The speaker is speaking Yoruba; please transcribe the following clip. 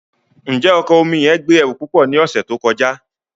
Njẹ ọkọ oju omi yẹn gbe ẹru pupọ ni ọsẹ to kọja?